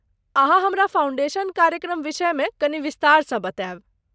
अहाँ हमरा फाउन्डेशन कार्यक्रम विषय मेकनि विस्तारसँ बतायब ?